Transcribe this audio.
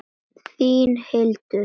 Hvaða stjóri verður rekinn næst?